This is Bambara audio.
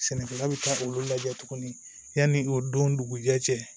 Sɛnɛkɛla bɛ taa olu lajɛ tugunni yanni o don dugu jɛ cɛ